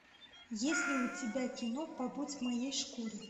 есть ли у тебя кино побудь в моей шкуре